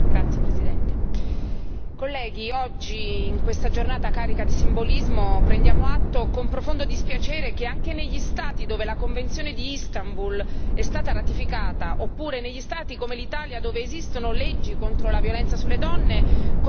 Signor Presidente, onorevoli colleghi, oggi in questa giornata carica di simbolismo prendiamo atto, con profondo dispiacere, che anche negli Stati dove la convenzione di Istanbul è stata ratificata, oppure negli Stati, come l'Italia, dove esistono leggi contro la violenza sulle donne,